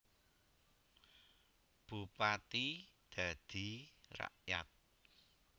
Bupati dadi rakyat